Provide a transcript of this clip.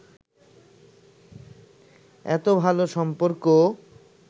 এতো ভালো সম্পর্ক